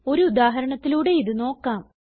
ഒരു ഉദാഹരണത്തിലൂടെ ഇത് നോക്കാം